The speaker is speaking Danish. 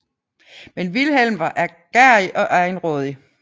Men Wilhelm var ærgerrig og egenrådig